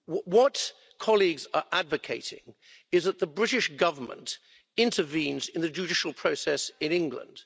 What colleagues are advocating is that the British government intervenes in the judicial process in England.